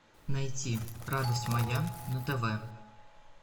найти радость моя на тв